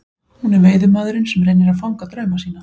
Hún er veiðimaðurinn sem reynir að fanga drauma sína.